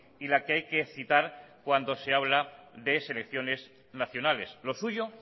y la que hay que citar cuando se habla de selecciones nacionales lo suyo